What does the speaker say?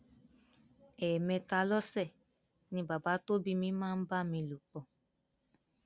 ẹẹmẹta lọsẹ ni bàbá tó bí mi máa ń bá mi lò pọ